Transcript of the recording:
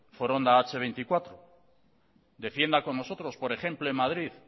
foronda hache veinticuatro defienda con nosotros por ejemplo en madrid